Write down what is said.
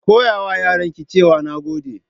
Ki koyawa yaranki cewa "Nagode"